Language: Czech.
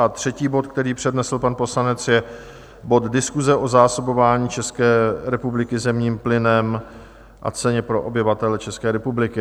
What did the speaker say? A třetí bod, který přednesl pan poslanec, je bod Diskuse o zásobování České republiky zemním plynem a ceně pro obyvatele České republiky.